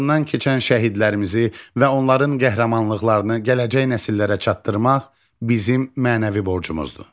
keçən şəhidlərimizi və onların qəhrəmanlıqlarını gələcək nəsillərə çatdırmaq bizim mənəvi borcumuzdur.